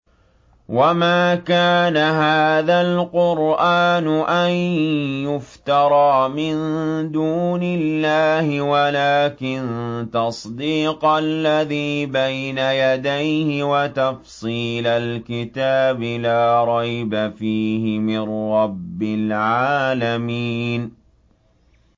وَمَا كَانَ هَٰذَا الْقُرْآنُ أَن يُفْتَرَىٰ مِن دُونِ اللَّهِ وَلَٰكِن تَصْدِيقَ الَّذِي بَيْنَ يَدَيْهِ وَتَفْصِيلَ الْكِتَابِ لَا رَيْبَ فِيهِ مِن رَّبِّ الْعَالَمِينَ